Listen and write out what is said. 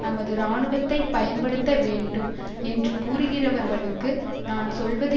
நமது இராணுவத்தை பயன்படுத்த வேண்டும் என்று கூறுகிறவர்களுக்கு நான் சொல்வது